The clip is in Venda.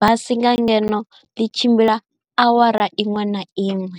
basi nga ngeno ḽi tshimbila awara iṅwe na iṅwe.